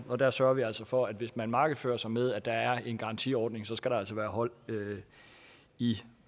og der sørger vi altså for at hvis man markedsfører sig med at der er en garantiordning så skal der altså være hold i